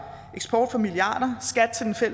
eksport for milliarder